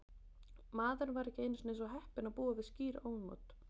Maðurinn var ekki einu sinni svo heppinn að búa við skýr ónot.